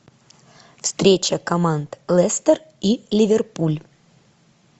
встреча команд лестер и ливерпуль